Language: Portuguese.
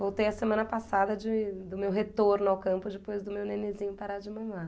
Voltei a semana passada de do meu retorno ao campo depois do meu nenenzinho parar de mamar.